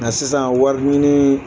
Nka sisan wariɲini